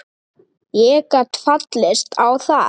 Ég gat fallist á það.